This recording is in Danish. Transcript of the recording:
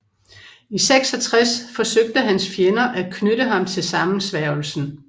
I 66 forsøgte hans fjender at knytte ham til sammensværgelsen